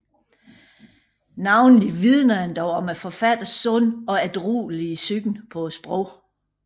Navnlig vidner den dog om forfatterens sunde og ædruelige syn på sproget